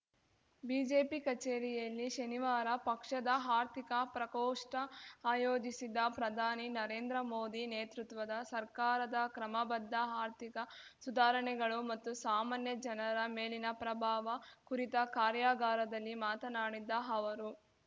BJP ಕಚೇರಿಯಲ್ಲಿ ಶನಿವಾರ ಪಕ್ಷದ ಆರ್ಥಿಕ ಪ್ರಕೋಷ್ಠ ಆಯೋಜಿಸಿದ ಪ್ರಧಾನಿ ನರೇಂದ್ರ ಮೋದಿ ನೇತೃತ್ವದ ಸರ್ಕಾರದ ಕ್ರಮಬದ್ಧ ಆರ್ಥಿಕ ಸುಧಾರಣೆಗಳು ಮತ್ತು ಸಾಮಾನ್ಯ ಜನರ ಮೇಲಿನ ಪ್ರಭಾವ ಕುರಿತ ಕಾರ್ಯಾಗಾರದಲ್ಲಿ ಮಾತನಾಡಿದ ಅವರು